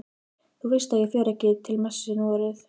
Þú veist að ég fer ekki til messu núorðið.